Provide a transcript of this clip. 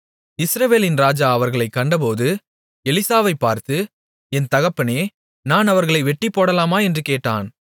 இஸ்ரவேலின் ராஜா அவர்களைக் கண்டபோது எலிசாவைப் பார்த்து என் தகப்பனே நான் அவர்களை வெட்டிப்போடலாமா என்று கேட்டான்